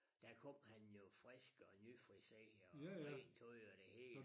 Dér kom han jo frisk og nyfriseret og rent tøj og det hele